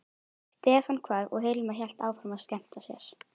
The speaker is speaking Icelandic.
Stefán hvarf og Hilmar hélt áfram að skemmta sér.